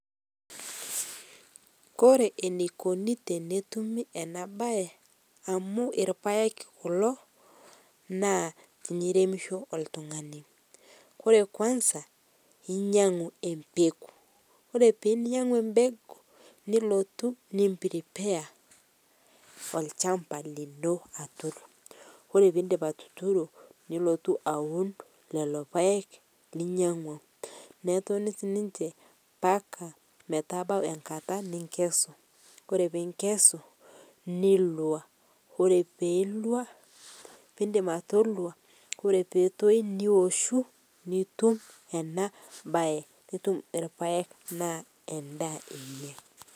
Kore eneikoni tenetumi ana bai amu elpaeg kuloo, naa tiniremishoo oltung'anii kore kwanza inyang'uu empekuu kore pee inyanguu empekuu nilotuu nim prepare olshampa lino atur, kore piindip atuturo nilotuu awun leloo paeg linyeng'ua neponikii ninshe mpaka metabau enkata ninkesuu, kore piinkesu nilua, kore pindip atolua Kore peetoi niwoshuu nitum ana bai nitum e lpaeg anaa endaa enyee.